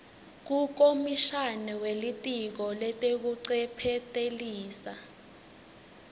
kukomishana welitiko letekuncephetelisa